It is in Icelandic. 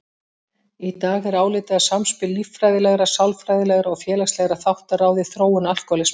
Í dag er álitið að samspil líffræðilegra, sálfræðilegra og félagslegra þátta ráði þróun alkóhólisma.